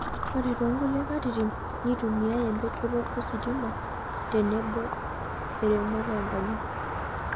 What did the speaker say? Ore toonkulie katitin, neitumiyai empejoto ositima tenebo eremoto oonkonyek.